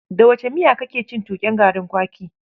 Da wace miya kake cin tuƙen garin kwaki?